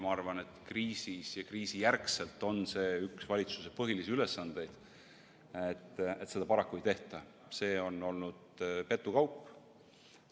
Ma arvan, et kriisis ja selle järel on see üks valitsuse põhilisi ülesandeid, aga seda paraku ei tehta, see on olnud petukaup.